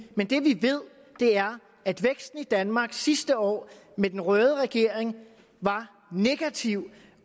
men det vi ved er at væksten i danmark sidste år med den røde regering var negativ